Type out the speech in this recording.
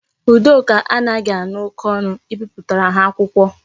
Udoka anaghi ha oke onu ibipụtara ha akwụkwọ